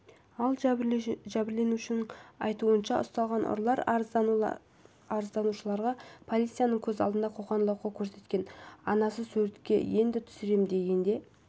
ал жәбірленушінің айтуынша ұсталған ұрылар арызданушыларға полицияның көз алдында қоқаң-лоққы көрсеткен анасы суретке енді түсірем дегенде